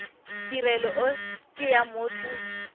tirelo e ke ya motho